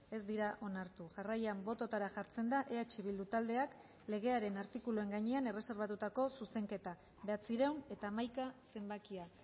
ez dira onartu jarraian bototara jartzen da eh bildu taldeak legearen artikuluen gainean erreserbatutako zuzenketa bederatziehun eta hamaika zenbakia